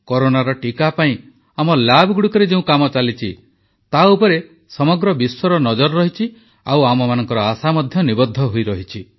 କରୋନାର ଟିକା ପାଇଁ ଆମ ଲ୍ୟାବଗୁଡ଼ିକରେ ଯେଉଁ କାମ ଚାଲିଛି ତାଉପରେ ସମଗ୍ର ବିଶ୍ୱର ନଜର ରହିଛି ଆଉ ଆମମାନଙ୍କ ଆଶା ମଧ୍ୟ ନିବଦ୍ଧ ହୋଇରହିଛି